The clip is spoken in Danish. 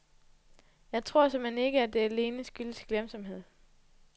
Jeg tror såmænd ikke, det alene skyldes glemsomhed.